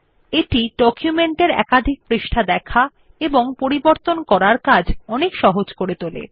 এটি ডকুমেন্ট এর একাধিক পৃষ্ঠা দেখা এবং পরিবর্তন করার কাজ অনেক সহজ করে তোলে